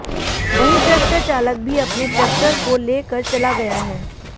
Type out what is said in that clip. वहीं ट्रैक्टर चालक भी अपने ट्रैक्टर को ले कर चला गया है